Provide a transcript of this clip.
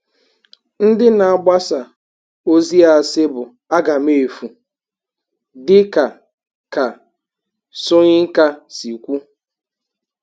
Ndị na-agbasa ozi asị bụ agamefu, dị ka ka Soyinka si kwu.